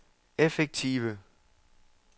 effektive